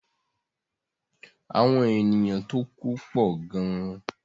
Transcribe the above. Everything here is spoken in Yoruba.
Àwọn ènìyàn tó ku pọ̀ gan.